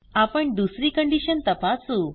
आपण दुसरी कंडिशन तपासू